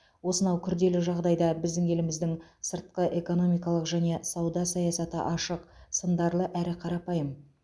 осынау күрделі жағдайда біздің еліміздің сыртқыэкономикалық және сауда саясаты ашық сындарлы әрі қарапайым